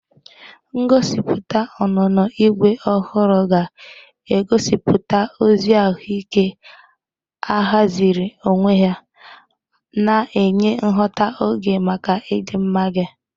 Ngosipụta onónó Igwe ohuru ga-egosipụta ozi ahụike ahaziri onwe ya, na-enye nghọta oge maka ịdịmma gị.